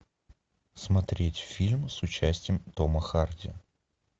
смотреть фильм с участием тома харди